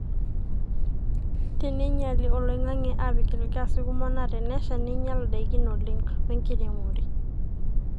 teneinyeli oloingange aapik ilgaasi kumok na tenesha neinyal ndaikin oleng we nkiremore